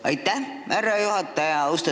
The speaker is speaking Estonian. Aitäh, härra juhataja!